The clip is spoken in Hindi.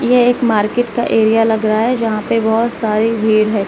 यह एक मार्केट का एरिया लग रहा है जहां पे बहोत सारी भीड़ है।